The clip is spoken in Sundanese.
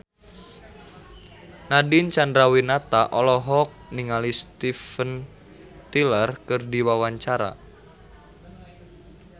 Nadine Chandrawinata olohok ningali Steven Tyler keur diwawancara